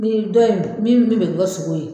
Ni dɔ in min bɛ bɛn bi kɛ sogo ye